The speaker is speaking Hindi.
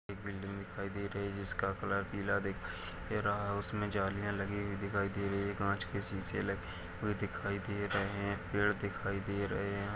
एक बिल्डिंग दिखाई दे रही है जिसका कलर पीला दिखाई दे रहा है उसमे जालियां लगी हुई दिखाई दे रही है कांच के शीशे लगे हुए दिखाई दे रहे हैं पेड़ दिखाई दे रहे हैं ।